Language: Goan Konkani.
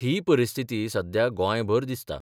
ही परिस्थिती सध्या गोंयभर दिसता.